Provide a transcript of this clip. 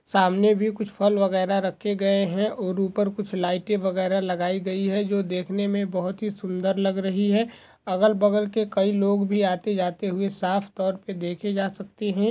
सामने भी कुछ फल वगैरा रखे गये है और उपर कुछ लाईटे वगैरा लगाई गई है जो देखने मे बहुत सुंदर लग रही है अगल बगल के कई लोग भी आते जाते हुए साफतौर से देखे जा सकते है।